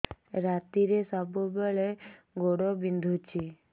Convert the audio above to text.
ରାତିରେ ସବୁବେଳେ ଗୋଡ ବିନ୍ଧୁଛି